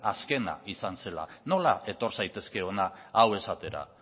azkena izan zela nola etor zaitezke hona hau esatera